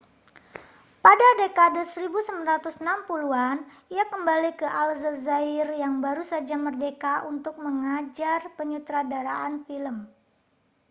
pada dekade 1960-an ia kembali ke aljazair yang baru saja merdeka untuk mengajar penyutradaraan film